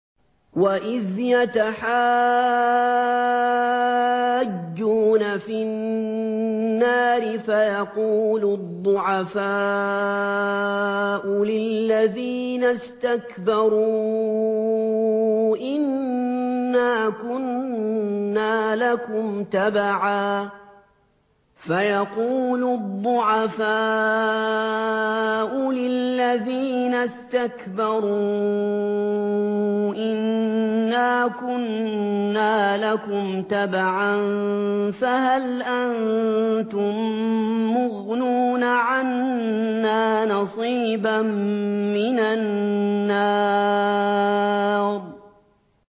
وَإِذْ يَتَحَاجُّونَ فِي النَّارِ فَيَقُولُ الضُّعَفَاءُ لِلَّذِينَ اسْتَكْبَرُوا إِنَّا كُنَّا لَكُمْ تَبَعًا فَهَلْ أَنتُم مُّغْنُونَ عَنَّا نَصِيبًا مِّنَ النَّارِ